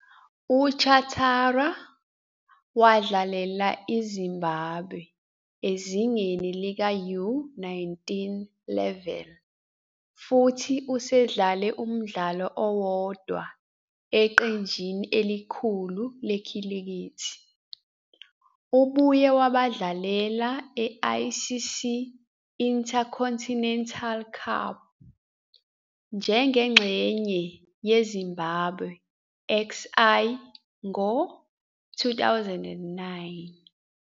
UChatara wadlalela iZimbabwe ezingeni lika-U-19 Level futhi usedlale umdlalo owodwa eqenjini elikhulu lekhilikithi. Ubuye wabadlalela e- ICC Intercontinental Cup njengengxenye yeZimbabwe XI ngo- 2009.